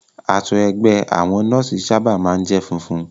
Aṣọ ẹgbẹ́ àwọn nọ́ọ̀sì sábà máa ń jẹ́ funfun